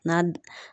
Na